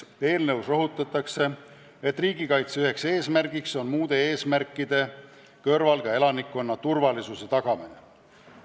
Eelnõus rõhutatakse esiteks, et riigikaitse üks eesmärk on muude eesmärkide kõrval elanikkonna turvalisuse tagamine.